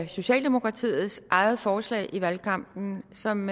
socialdemokratiets eget forslag i valgkampen som